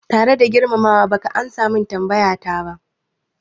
Tare da girmama wa, baka amsa min tambayata ba